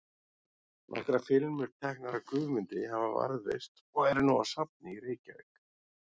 Nokkrar filmur, teknar af Guðmundi, hafa varðveist og eru nú á safni í Reykjavík.